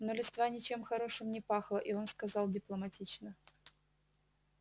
но листва ничем хорошим не пахла и он сказал дипломатично